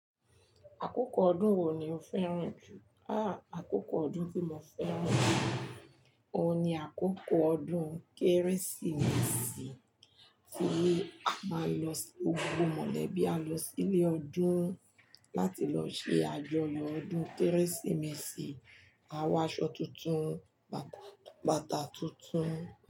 Àkókò ọdún wo ni o fẹ́ràn jù? Ha! Àkókò ọdún tí mo fẹ́ràn jù, òun ni àkókò ọdún Kérésìmesì tí a máa nlọ, gbogbo mọ̀lẹ́bí á lọ sílé ọdún láti lọ ṣe àjọyọ̀ ọdún Kérésìmesì. A wọ aṣọ tuntun, bàtà tuntun.